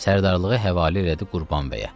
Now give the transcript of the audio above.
Sərdarlığı həvalə elədi Qurban bəyə.